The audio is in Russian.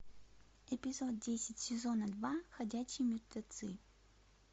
эпизод десять сезона два ходячие мертвецы